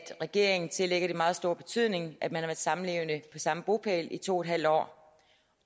regeringen tillægger det meget stor betydning at man har været samlevende på samme bopæl i to en halv år